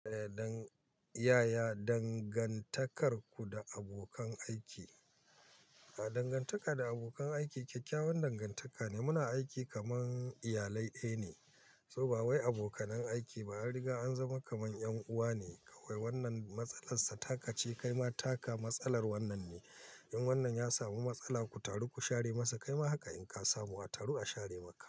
Ya dan, yaya dangantakarku da abokan aiki? Ah dangantaka da abokan aiki, kyakkyawan dangantaka ne. Muna aiki kaman iyalai ɗaya ne, so ba wai abokanan aiki ba, an riga an zama kaman ƴan uwa ne. Kawai wannan matsalar sa taka ce, kaima taka, matsalar wannan ne. In wannan ya samu matsala, ku taru ku share masa, kaima haka in ka samu, a taru a share maka.